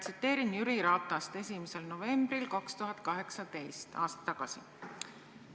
Tsiteerin Jüri Ratase sõnu 1. novembril 2018, aasta tagasi.